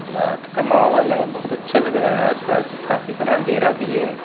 रात का माहौल है बहुत अच्छा लग रहा है आसपास काफी सारा अंधेरा भी है।